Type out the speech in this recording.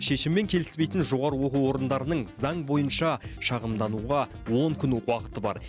шешіммен келіспейтін жоғары оқу орындарының заң бойынша шағымдануға он күн уақыты бар